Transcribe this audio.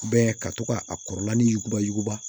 ka to ka a kɔrɔla ni yuguba yuguba